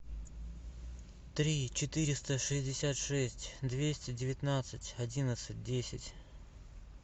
три четыреста шестьдесят шесть двести девятнадцать одиннадцать десять